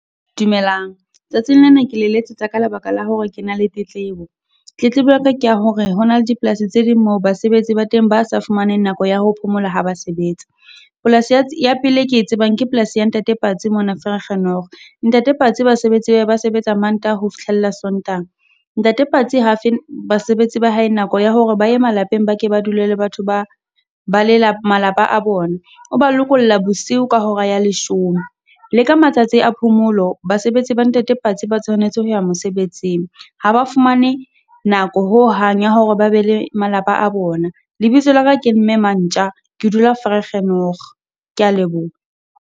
Dumelang, tsatsing le na ke le letsetsa ka lebaka la hore ke na le tetlebo. Tletlebo ya ka ke ya hore ho na le dipolasi tse ding mo basebetsi ba teng ba sa fumaneng nako ya ho phomola ha ba sebetsa. Polasi ya ya pele e ke tsebang ke polasi ya ntate Patsi mona Vergenoeg. Ntate Patsi basebetsi ba hae ba sebetsa Mantaha ho fihlella Sontaha, ntate Party ha a fe basebetsi ba hae nako ya hore ba e malapeng ba ke ba dule le batho ba ba malapa a bona. O ba lokolla bosiu ka hora ya leshome, le ka matsatsi a phomolo basebetsi ba ntate Patsi ba tshwanetse ho ya mosebetsing. Ha ba fumane nako ho hang ya hore ba be le malapa a bona. Lebitso la ka ke mme Mantja, ke dula Vergenoeg, ke ya leboha.